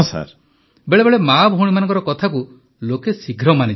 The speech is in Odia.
ପ୍ରଧାନମନ୍ତ୍ରୀ ବେଳେବେଳେ ମାଆ ଭଉଣୀମାନଙ୍କ କଥାକୁ ଲୋକେ ଶୀଘ୍ର ମାନିଯାଆନ୍ତି